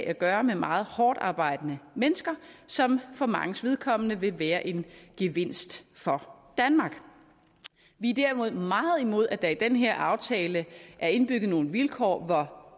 at gøre med meget hårdtarbejdende mennesker som for manges vedkommende vil være en gevinst for danmark vi er derimod meget imod at der i den her aftale er indbygget nogle vilkår hvor